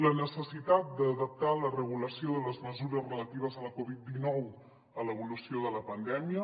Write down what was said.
la necessitat d’adaptar la regulació de les mesures relatives a la covid dinou a l’evolució de la pandèmia